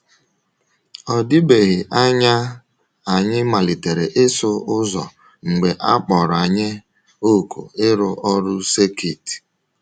Ọ dịbeghị anya anyị malitere ịsụ ụzọ mgbe a kpọrọ anyị òkù ịrụ ọrụ sekit.